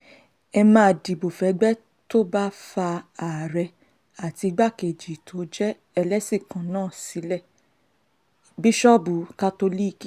ẹ má dìbò fẹ́gbẹ́ tó bá fa àárẹ̀ àti igbákejì tó jẹ́ ẹlẹ́sìn kan náà sílé bíṣọ́ọ̀bù kátólíìkì